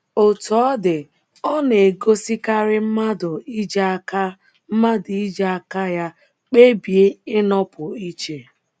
Otú ọ dị, ọ na - egosikarị mmadụ iji aka mmadụ iji aka ya kpebie ịnọpụ iche. ’